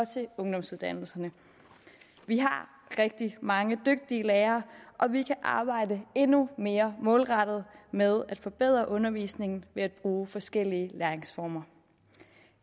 til ungdomsuddannelserne vi har rigtig mange dygtige lærere og vi kan arbejde endnu mere målrettet med at forbedre undervisningen ved at bruge forskellige læringsformer